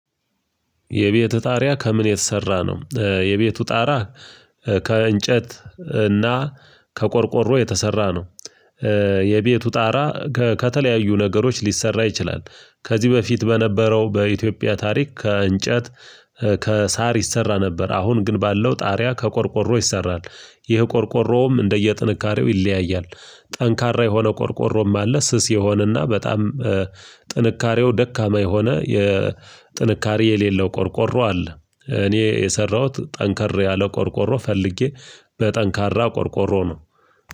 የቤት ጣሪያ ከምን የተሰራ ነው? የቤቱ ጣራ ከእንጨት እና ከቆርቆሮ የተሰራ ነው። የቤቱ ጣራ ከተለያዩ ነገሮች ሊሰራ ይችላል። ከዚህ በፊት በነበረው በኢትዮጵያ ታሪክ ከእንጨት፣ ከሳር ይሰራ ነበር፤ አሁን ግን ባለው ጣሪያ ከቆርቆሮ ይሰራል። ይህ ቆርቆሮውም እንደየጥንካሬው ይለያያል። ጠንካራ የሆነ ቆርቆሮም አለ። ስስ የሆነና በጣም ጥንካሬው ደካማ የሆነ የጥንካሬ የሌለው ቆርቆሮ አለ። እኔ የሰራሁት ጠንከር ያለ ቆርቆሮ ፈልጌ በጠንካራ ቆርቆሮ ነው።